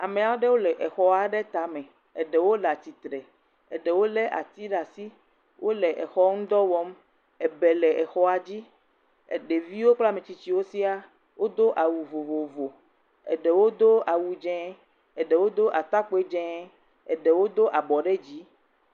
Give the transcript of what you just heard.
Amea ɖewo le exɔa ɖe tame, eɖewo le atitre, eɖewo lé ati ɖe asi, wole exɔ ŋudɔ wɔm, ebɛ le exɔa dzi, ɖeviwo kple ametsitsiwo sia, odo awu vovovo, eɖewo do awu dzeŋ, eɖewo do atakpoe dzeŋ, eɖewo do abɔ dzi.